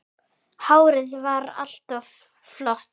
Hárið var alltaf flott.